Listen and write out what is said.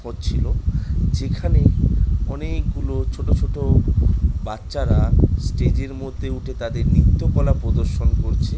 হচ্ছিলো। যেখানে অনেক গুলো ছোট ছোট বাচ্চারা স্টেজ এর মধ্যে উঠে তাদের নৃত্য কলা প্রদর্শন করছে।